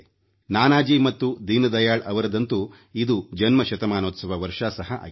ನಾನಾಜಿ ಮತ್ತು ದೀನದಯಾಳ ಅವರದಂತೂ ಇದು ಜನ್ಮ ಶತಮಾನೋತ್ಸವದ ವರ್ಷ ಸಹ ಆಗಿದೆ